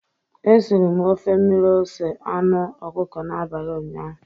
E siri m ofe mmiri ose anụ ọkụkọ n'abalị ụnyaahụ.